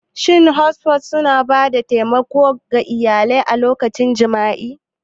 Shin Hospices suna ba da taimako ga iyalai a lokacin jimami?